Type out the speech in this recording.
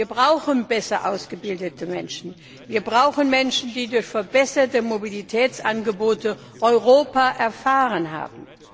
Wir brauchen besser ausgebildete Menschen. Wir brauchen Menschen, die durch verbesserte Mobilitätsangebote Europa erfahren haben.